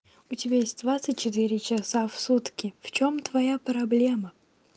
у тебя есть двадцать четыре часа в сутки в чём твоя проблема